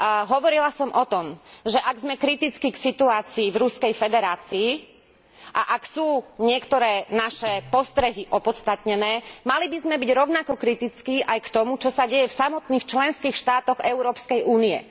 Hovorila som o tom, že ak sme kritickí k situácii v Ruskej federácii a ak sú niektoré naše postrehy opodstatnené, mali by sme byť rovnako kritickí aj k tomu, čo sa deje v samotných členských štátoch Európskej únie.